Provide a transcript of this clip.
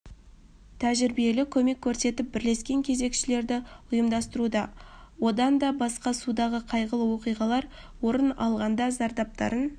тәжірибелі көмек көрсетіп бірлескен кезекшіліктерді ұйымдастыруда одан да басқа судағы қайғылы оқиғалар орын алғанда зардаптарын